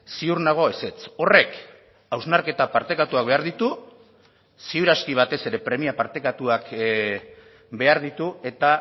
ziur nago ezetz horrek hausnarketa partekatuak behar ditu ziur aski batez ere premia partekatuak behar ditu eta